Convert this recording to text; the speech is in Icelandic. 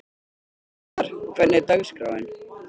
Hnikarr, hvernig er dagskráin?